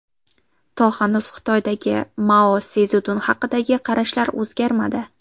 To hanuz Xitoydagi Mao Szedun haqidagi qarashlar o‘zgarmadi.